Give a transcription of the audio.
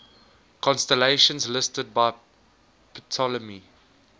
constellations listed by ptolemy